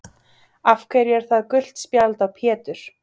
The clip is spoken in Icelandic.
Af hverju er það gult spjald á Pétur?